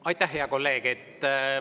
Aitäh, hea kolleeg!